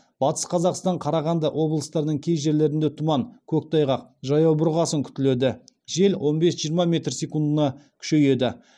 батыс қазақстан қарағанды облыстарының кей жерлерінде тұман көктайғақ жаяу бұрғасын күтіледі жел он бес жиырма метр секундіне күшейеді